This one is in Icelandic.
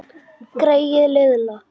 Greyið litla!